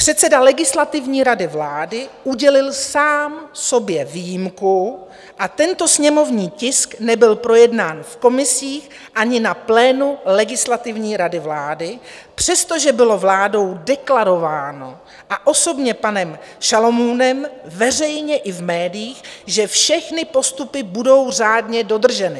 Předseda Legislativní rady vlády udělil sám sobě výjimku a tento sněmovní tisk nebyl projednán v komisích ani na plénu Legislativní rady vlády, přestože bylo vládou deklarováno a osobně panem Šalomounem veřejně i v médiích, že všechny postupy budou řádně dodrženy.